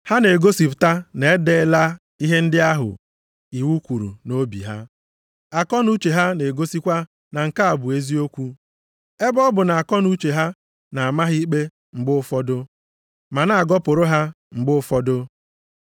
Ha na-egosipụta na edeela ihe ndị ahụ iwu kwuru nʼobi ha. Akọnuche ha na-egosikwa na nke a bụ eziokwu, ebe ọ bụ na akọnuche ha na-ama ha ikpe mgbe ụfọdụ, ma na-agọpụrụ ha mgbe ụfọdụ.